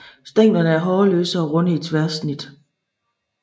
Stænglerne er hårløse og runde i tværsnit